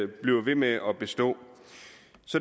bliver ved med at bestå